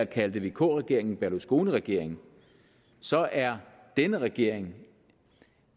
kaldte vk regeringen berlusconiregering så er denne regering